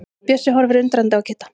Bjössi horfir undrandi á Kidda.